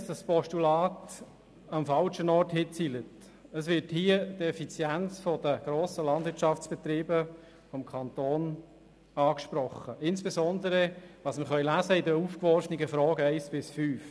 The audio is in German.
Es spricht die Effizienz der grossen Landwirtschaftsbetriebe des Kantons an, insbesondere in den Fragen 1 bis 5.